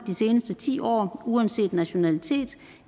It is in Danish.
de seneste ti år uanset nationalitet